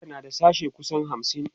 jami'ar na da sashe kusan hamsin